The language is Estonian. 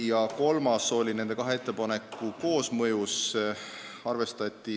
Ja kolmas sündis nende kahe ettepaneku koosmõju tulemusel, sedagi arvestati.